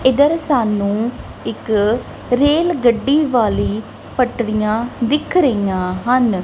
ਇੱਧਰ ਸਾਨੂੰ ਇੱਕ ਰੇਲ ਗੱਡੀ ਵਾਲੀ ਪਟਰੀਆਂ ਦਿੱਖ ਰਹੀਆਂ ਹਨ।